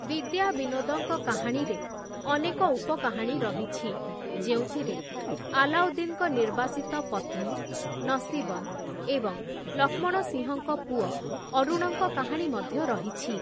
ବିଦ୍ୟାବିନୋଦଙ୍କ କାହାଣୀରେ ଅନେକ ଉପ-କାହାଣୀ ରହିଛି, ଯେଉଁଥିରେ ଆଲାଉଦ୍ଦିନ୍‌ଙ୍କ ନିର୍ବାସିତ ପତ୍ନୀ, ନସୀବନ୍‌ ଏବଂ ଲକ୍ଷ୍ମଣସିଂହଙ୍କ ପୁଅ ଅରୁଣଙ୍କ କାହାଣୀ ମଧ୍ୟ ରହିଛି ।